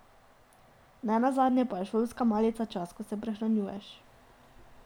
Ne nazadnje pa je šolska malica čas, ko se prehranjuješ.